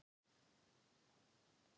Hrund: Eins og þegar við förum í útilegu?